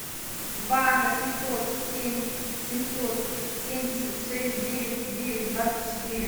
два восемьсот семь семьсот семьдесят шесть девять девять двадцать четыре